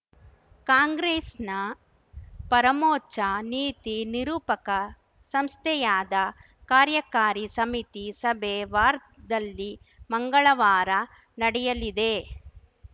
ಕಾಂಗ್ರೆಸ್‌ನ ಪರಮೋಚ್ಛ ನೀತಿನಿರೂಪಕ ಸಂಸ್ಥೆಯಾದ ಕಾರ್ಯಕಾರಿ ಸಮಿತಿ ಸಭೆ ವಾರ್ಧಾದಲ್ಲಿ ಮಂಗಳವಾರ ನಡೆಯಲಿದೆ